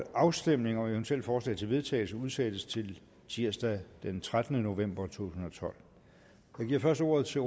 afstemning om eventuelle forslag til vedtagelse udsættes til tirsdag den trettende november to tusind og tolv jeg giver først ordet til